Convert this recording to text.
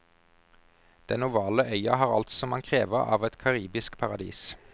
Den ovale øya har alt som man krever av et karibisk paradis.